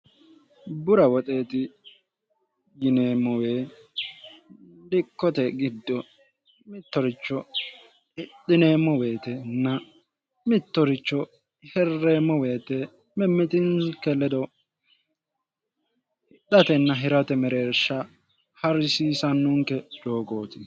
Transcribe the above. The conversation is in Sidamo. bura woxeexi yineemmowee dikkote giddo mittoricho dhineemmo weetenna mittoricho hirreemmo weete mimmitinnke ledo hidhatenna hirate mereeshsha harrisiisannunke joogooti